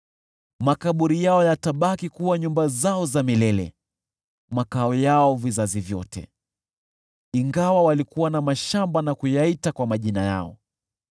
Makaburi yao yatabaki kuwa nyumba zao za milele, makao yao vizazi vyote; ingawa walikuwa na mashamba na kuyaita kwa majina yao.